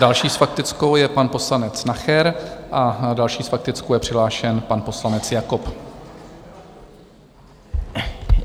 Další s faktickou je pan poslanec Nacher a další s faktickou je přihlášen pan poslanec Jakob.